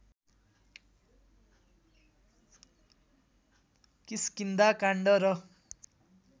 किष्किन्धा काण्ड र